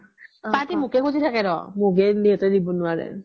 তাহাতি মোকে খুচি থাকে ৰ'হ মোকে দিব নোৱাৰে